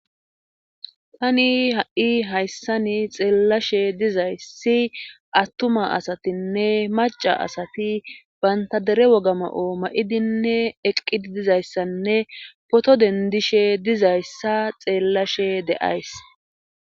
Tani ha'i hayssani xeellashe dizayssi attuma asatinne maca asati bantadere wogama'o ma'idinne eqqidi dizayssanne poto dendishe dizayssa xeellashe d'7ays.